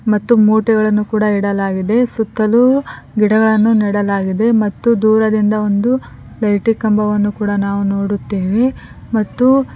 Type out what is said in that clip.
ಮತ್ತು ಮೂಟೆಗಳನ್ನು ಕೂಡ ಇಡಲಾಗಿದೆ ಸುತ್ತಲು ಗಿಡಗಳನ್ನು ನೆಡಲಾಗಿದೆ ಮತ್ತು ದೂರದಿಂದ ಒಂದು ಲೇಟಿಂಗ್ ಕಂಬವನ್ನು ನಾವು ನೋಡುತ್ತೇವೆ ಮತ್ತು--